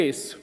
Punkt 1